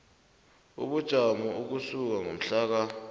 ubujamo ukusuka ngomhlaka